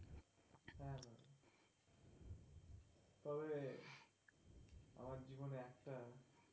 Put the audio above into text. হ্যাঁ তাহলে আমার জিবনে একটা